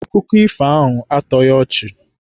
Akụkọ ifo ahụ a tọghị ọchị.